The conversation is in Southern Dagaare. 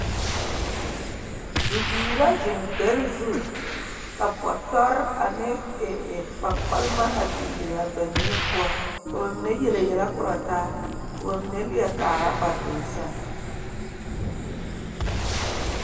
Bibiiri la zeŋ dare zu ka bɔtɔre ane ee…, ee… kpaŋkparema a biŋ biŋ kɔge ba, ba niŋe poɔ, ka ba mine yele yɛlɛ korɔ taa ka ba mine kaara ba doloŋ seŋ.